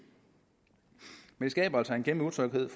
men det skaber altså en kæmpe utryghed